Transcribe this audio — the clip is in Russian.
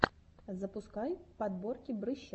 запускай подборки брыща